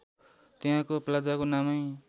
त्यहाँको प्लाजाको नामै